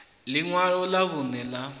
ḽi ṅwalo ḽa vhuṋe ḽa